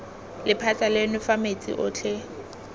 lephata leno fa metsi otlhe